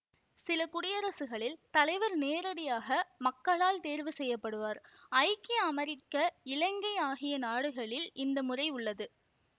சில குடியரசுகளில் தலைவர் நேரடியாக மக்களால் தேர்வு செய்ய படுவார் ஐக்கிய அமெரிக்க இலங்கை ஆகிய நாடுகளில் இந்த முறை உள்ளது